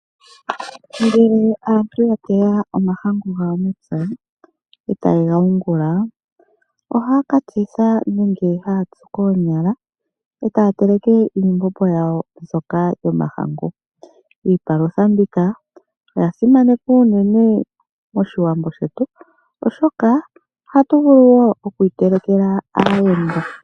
Ngele aantu yateya omahangu yawo mepya, e taye ga yungula, ohaya ka tsitha nenge haya tsu koonyala, e taya teleke iimbombo yawo mbyoka yomahangu. Iipalutha mbika, oya simanekwa unene moshilongo shetu, oshoka ohatu vulu woo okuyi telekela aayenda.